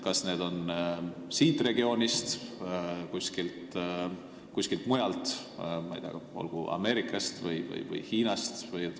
Kas need on siit regioonist või kuskilt mujalt, ma ei tea, näiteks Ameerikast või Hiinast?